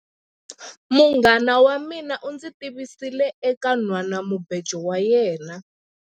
Munghana wa mina u ndzi tivisile eka nhwanamubejo wa yena.